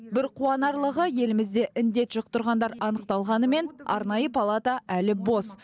бір қуанарлығы елімізде індет жұқтырғандар анықталғанымен арнайы палата әлі бос